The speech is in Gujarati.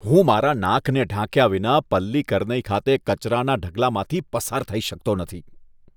હું મારા નાકને ઢાંક્યા વિના પલ્લીકરનઈ ખાતે કચરાના ઢગલામાંથી પસાર થઈ શકતો નથી.